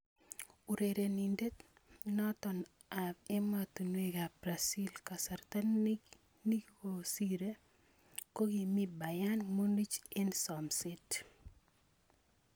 Urerenindet noto ab ematunwek ab Brazil kasarta nikosire kokimi Bayern Munich eng somset.